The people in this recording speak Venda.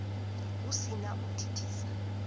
hu si na u thithisa